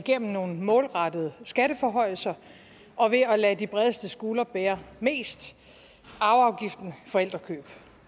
gennem nogle målrettede skatteforhøjelser og ved at lade de bredeste skuldre bære mest arveafgiften forældrekøb